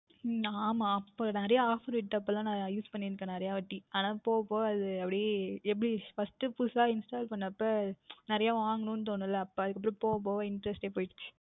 நான் அப்பொழுது நிறைய Offer விட்ட பொழுது Use பண்ணிக்கொண்டு இருந்தேன் நிறைய வாட்டி போக போக அப்படியே அது எப்படி First புதிதாக Install பண்ணும்பொழுது நிறைய வாங்கவேண்டும் என்று தோணும் அல்லவா அப்பொழுது அதற்க்கு அப்புறம் போக போக Interest டே போய்விட்டது